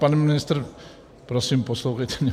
Pane ministře, prosím, poslouchejte mě.